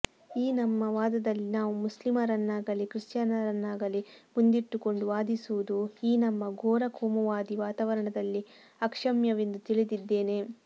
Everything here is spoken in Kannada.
ಈ ನಮ್ಮ ವಾದದಲ್ಲಿ ನಾವು ಮುಸ್ಲಿಮರನ್ನಾಗಲೀ ಕ್ರಿಶ್ಚಿಯನ್ನರನ್ನಾಗಲೀ ಮುಂದಿಟ್ಟುಕೊಂಡು ವಾದಿಸುವುದು ಈ ನಮ್ಮ ಘೋರ ಕೋಮುವಾದೀ ವಾತಾವರಣದಲ್ಲಿ ಅಕ್ಷಮ್ಯವೆಂದು ತಿಳಿದಿದ್ದೇನೆ